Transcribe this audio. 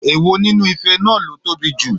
Èwo nínú ife náà ló tóbi jù?